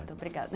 Muito obrigada.